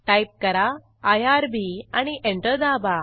type करा IRB आणि enter दाबा